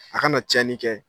A kana tiyani kɛ